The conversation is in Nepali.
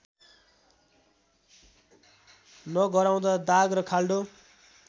नगराउँदा दाग र खाल्डो